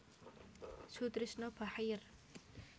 Soetrisno Bachir